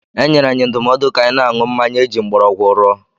E nyere anyị ndụmọdụ ka anyị na-aṅụ mmanya eji mgbọrọgwụ rụọ.